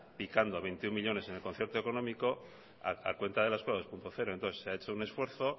picando a veintiuno millónes en el concierto económico a cuenta de la eskola dos punto cero entonces se ha hecho un esfuerzo